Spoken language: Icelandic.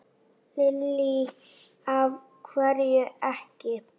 Lillý: Af hverju ekki?